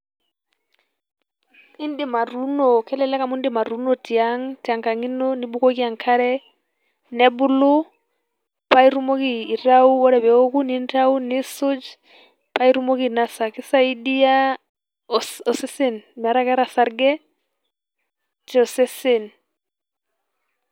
Indim atuuno, kelelek amu indim atuuno tiang', tenkang' ino nibukoki enkare, nebulu paa itumoki aitayu ore peewoku ninyau niisuj paa itumoki ainosa. Keisaidia osesen metaa keeta osarge tosesen.